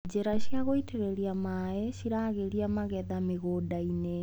Njĩra cia gũitĩrĩra maĩ cĩragĩria magetha mĩgũndainĩ.